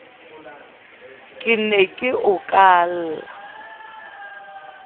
ke ne ke o kala